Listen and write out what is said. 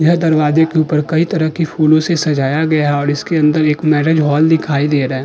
यह दरवाजे के ऊपर कई तरह की फूलों से सजाया गया है और इसके अंदर एक मैंरिज हॉल दिखाई दे रहा है।